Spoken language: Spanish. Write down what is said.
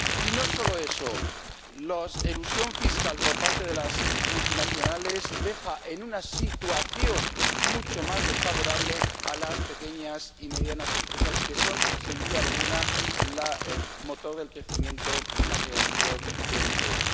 Y no solo eso la elusión fiscal por parte de las multinacionales deja en una situación mucho más desfavorable a las pequeñas y medianas empresas, que son, sin duda alguna, el motor del crecimiento y la creación de empleo.